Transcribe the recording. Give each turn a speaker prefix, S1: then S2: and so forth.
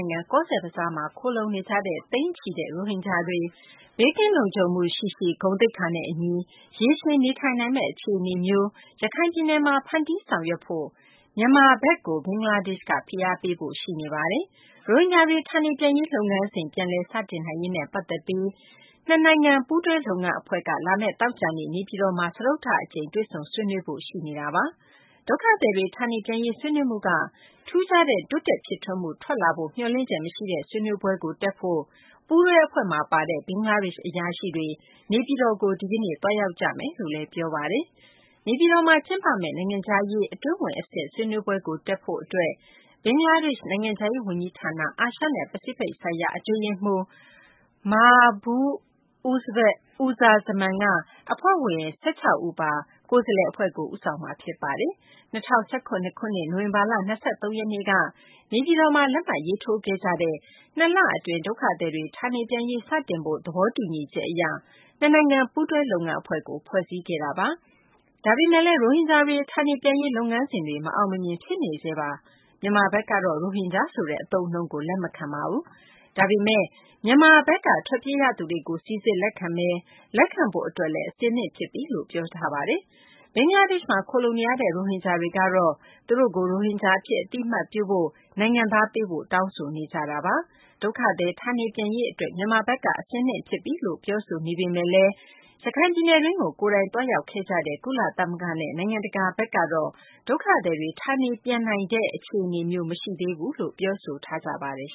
S1: ုင်ငံ ကောဇ့်ဘဇားမှာ ခိုလှုံနေကြတဲ့ သိန်းချီတဲ့ ရိုဟင်ဂျာတွေ ဘေးကင်းလုံခြုံမှုရှိရှိ ဂုဏ်သိက္ခာနဲ့ အညီ ရေရှည်နေထိုင်နိုင်မယ့် အခြေအနေမျိုးကို ရခိုင်ပြည်နယ်မှာ ဖန်းတီးဆောင်ရွက်ဖို့ မြန်မာနိုင်ငံကို ဘင်္ဂလားဒေရှ့်ဘက်က ဖိအားပေးဖို့ ရှိနေပါတယ်။ ရိုဟင်ဂျာတွေ ဌာနေပြန်ရေး လုပ်ငန်းစဉ် ပြန်လည် စတင်နိုင်ရေးနဲ့ ပတ်သက်ပြီး ဘင်္ဂလားဒေရှ့်နဲ့ မြန်မာ ပူးတွဲ လုပ်ငန်း အဖွဲ့က လာမယ့် သောကြာနေ့ နေပြည်တော်မှာ စတုတ္ထအကြိမ် တွေ့ဆုံဆွေးနွေးဖို့ ရှိနေတာပါ။ ဒုက္ခသည်တွေ ဌာနေပြန်ရေး ဆွေးနွေးမှုက ထူးခြားတဲ့ တိုးတက် ဖြစ်ထွန်းမှု ထွက်ပေါ်လာဖို့ မျှော်လင့်ချက် မရှိတဲ့ ဆွေးနွေးပွဲတက်ဖို့ ပူးတွဲ အဖွဲ့မှာပါတဲ့ ဘင်္ဂလားဒေရှ့် အရာရှိတွေ နေပြည်တော်ကို ဒီကနေ့ သွားရောက်ကြမယ်လို့လည်း ပြောပါတယ်။ နေပြည်တော်မှာ ကျင်းပမယ့် နိုင်ငံခြားရေး အတွင်းဝန် အဆင့် ဆွေးနွေးပွဲကို တက်ဖို့ အတွက် ဘင်္ဂလားဒေရှ့် နိုင်ငံခြားရေး ဝန်ကြီးဌာန အာရှနဲ့ ပစိဖိတ်ဆိုင်ရာ အတွင်းရေးမှူး Mahbub Uz Zaman က အဖွဲ့ဝင် ၁၆ ဦးပါ ဘင်္ဂလားဒေရှ့် ကိုယ်စားလှယ် အဖွဲ့ကို ဦးဆောင်မှာ ဖြစ်ပါတယ်။ ၂၀၁၇ ခုနှစ် နိုဝင်ဘာလ ၂၃ ရက်နေ့က နေပြည်တော်မှာ လက်မှတ်ရေးထိုးခဲ့ကြတဲ့ ၂ လအတွင်း ဒုက္ခသည်တွေ ဌာနေပြန်ရေး စတင်ဖို့ သဘောတူညီချက် အရ နှစ်နိုင်ငံ ပူးတွဲ လုပ်ငန်းအဖွဲ့ကို ဖွဲ့စည်းခဲ့တာပါ။ ဒါပေမယ့်လည်း ရိုဟင်ဂျာ ဌာနေပြန်ရေး လုပ်ငန်းစဉ်တွေက မအောင်မမြင် ဖြစ်နေဆဲပါ။ မြန်မာဘက်ကတော့ ရိုဟင်ဂျာဆိုတဲ့ အသုံးအနှုန်းကို လက်မခံပါဘူး။ ဒါပေမယ့် မြန်မာဘက်က ထွက်ပြေးသွားရသူတွေကို စိစစ် လက်ခံမယ်၊ လက်ခံဖို့ အတွက်လည်း အဆင်သင့် ဖြစ်ပြီလို့ ပြောဆိုထားပါတယ်။ ဒါပေမယ့် ဘင်္ဂလားဒေရှ့်မှာ ခိုလှုံနေရတဲ့ ရိုဟင်ဂျာတွေကတော့ သူတို့ကို ရိုဟင်ဂျာ အဖြစ် အသိအမှတ်ပြုဖို့၊ နိုင်ငံသားပေးဖို့ တောင်းဆိုနေကြတာပါ။ ဒုက္ခသည် ဌာနေပြန်ရေး အတွက် မြန်မာဘက်က အဆင်သင့် ဖြစ်ပြီလို့ ပြောဆိုနေပေမယ့်လည်း ရခိုင်ပြည်နယ်တွင်းကို ကိုယ်တိုင်သွားရောက်ခဲ့ကြတဲ့ ကုလသမဂ္ဂနဲ့ နိုင်ငံတကာ ဘက်ကတော့ ဒုက္ခသည်တွေ ဌာနေပြန်နိုင်မယ့် အခြေအနေမျိုး မရှိသေးဘူးလို့ ပြောဆိုထား ကြပါတယ်